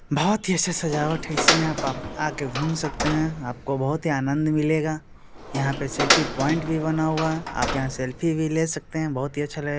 बहुत ही अच्छा सजावट है इसमें आप-आप आके घूम सकते है आपको बहुत ही आनंद मिलेगा यहाँ पे सेल्फी पॉइंट भी बना हुआ है आप यहाँ सेल्फी भी ले सकते है बहुत ही अच्छा लग --